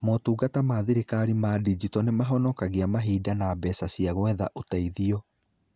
Motungata ma thirikari ma ndinjito nĩ mahonokagia mahinda na mbeca cia gwetha ũteithio.